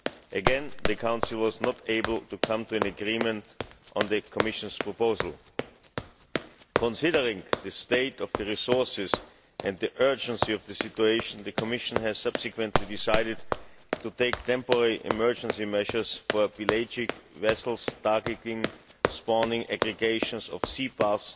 Again the Council was not able to come to an agreement on the Commission's proposal. Considering the state of the resources and the urgency of the situation, the Commission has subsequently decided to take temporary emergency measures for pelagic vessels targeting spawning aggregations of sea bass